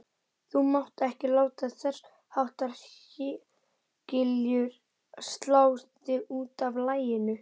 Þú mátt ekki láta þessháttar hégiljur slá þig útaf laginu.